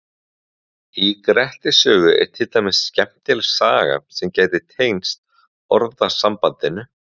Í Grettis sögu er til dæmis skemmtileg saga sem gæti tengst orðasambandinu.